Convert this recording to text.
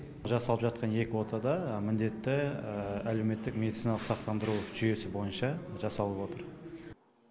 жасалып жатқан екі отада міндетті әлеуметтік мединициналық сақтандыру жүйесі бойынша жасалып отыр